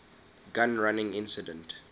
gun running incident